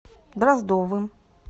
дроздовым